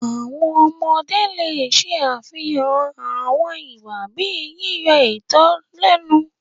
Àwọn ọmọde le ṣe afihan awọn iwa bii yiyọ itọ lẹnu